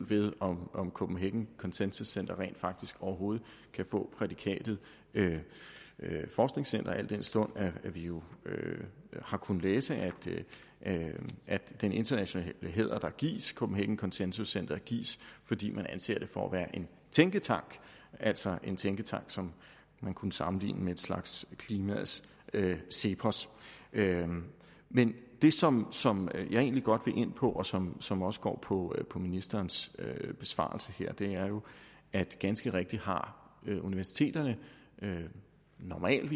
om om copenhagen consensus center rent faktisk overhovedet kan få prædikatet forskningscenter al den stund vi jo har kunnet læse at den internationale hæder der gives copenhagen consensus center gives fordi man anser det for at være en tænketank altså en tænketank som man kunne sammenligne med en slags klimaets cepos men det som som jeg egentlig godt vil ind på og som som også går på på ministerens besvarelse her er jo at ganske rigtigt har universiteterne normalt